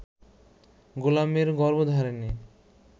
গোলামের গর্ভধারিণী